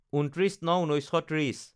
২৯/০৯/১৯৩০